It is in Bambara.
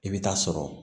I bɛ taa sɔrɔ